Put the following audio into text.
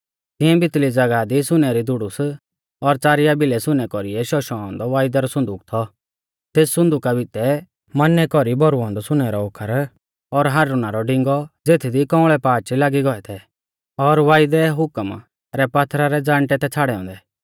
तिऐं भितली ज़ागाह दी सुनै री धुड़ुस और च़ारिया भिलै सुनै कौरी शौशौ औन्दौ वायदै रौ सुन्दूक थौ तेस सुन्दुका भितै मन्नै कौरी भौरुऔ औन्दौ सुनै रौ ओखर और हारुना रौ डिंगौ ज़ेथदी कौंअल़ै पाच लागी गौऐ थै और वायदै हुकम रै पात्थरा रै ज़ाण्टै थै छ़ाड़ै औन्दै